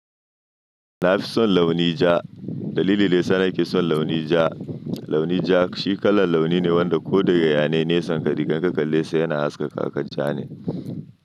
Na fi son launi ja. Dalili da yass nake son launi ja, launi ja shi kalan launi ne wanda ko daga yanayin nesa ka rigar ka kalle sai yana haskaka kakan ja ne.